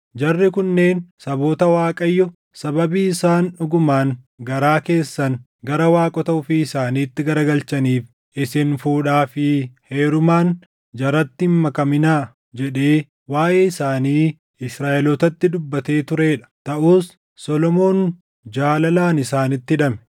Jarri kunneen saboota Waaqayyo, “Sababii isaan dhugumaan garaa keessan gara waaqota ofii isaaniitti garagalchaniif isin fuudhaa fi heerumaan jaratti hin makaminaa” jedhee waaʼee isaanii Israaʼelootatti dubbatee turee dha. Taʼus Solomoon jaalalaan isaanitti hidhame.